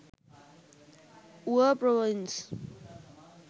uva province